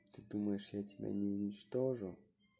ты думаешь я тебя не уничтожу